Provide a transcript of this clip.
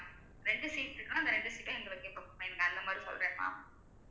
ரெண்டு seat இருக்குன்னா அந்த ரெண்டு seat ம் எங்களுக்கு எப்ப அந்த மாதிரி சொல்றேன்மா